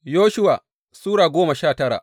Yoshuwa Sura goma sha tara